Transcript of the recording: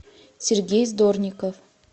сергей здорников